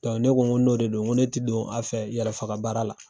ne ko n ko n'o de don n ko ne ti don a fɛ yɛrɛfagabaara la.